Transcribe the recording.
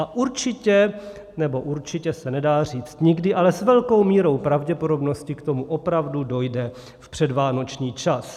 A určitě - nebo určitě se nedá říct nikdy, ale s velkou mírou pravděpodobnosti k tomu opravdu dojde v předvánoční čas.